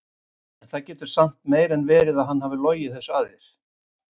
En það getur samt meira en verið að hann hafi logið þessu að þér.